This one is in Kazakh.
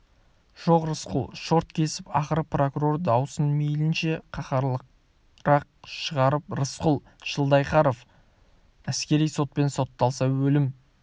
жоқ рысқұл шорт кесіп ақыры прокурор дауысын мейлінше қаһарлырақ шығарып рысқұл жылқайдаров әскери сотпен сотталса өлім